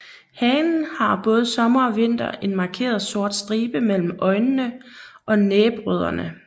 Hanen har både sommer og vinter en markeret sort stribe mellem øjnene og næbrødderne